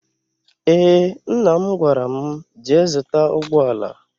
Eé, mna m gwara m, jee zụta ụgbọala.